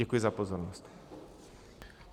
Děkuji za pozornost.